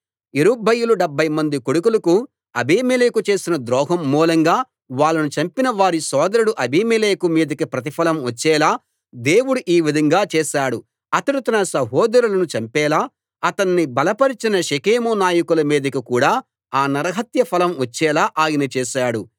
యెరుబ్బయలు డెబ్భైమంది కొడుకులకు అబీమెలెకు చేసిన ద్రోహం మూలంగా వాళ్ళను చంపిన వారి సోదరుడు అబీమెలెకు మీదికి ప్రతిఫలం వచ్చేలా దేవుడు ఈ విధంగా చేశాడు అతడు తన సహోదరులను చంపేలా అతన్ని బలపరచిన షెకెము నాయకుల మీదికి కూడా ఆ నరహత్య ఫలం వచ్చేలా ఆయన చేశాడు